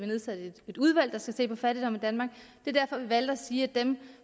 nedsat et udvalg der skal se på fattigdom i danmark det er derfor vi valgte at sige at dem